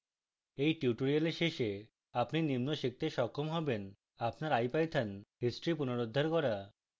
at tutorial শেষে আপনি নিম্ন করতে সক্ষম হবেন: আপনার ipython history পুনরুদ্ধার করা